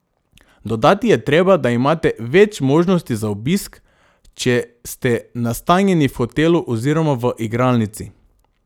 Dodati je treba, da imate več možnosti za obisk, če ste nastanjeni v hotelu oziroma v igralnici.